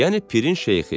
Yəni pirin şeyxi.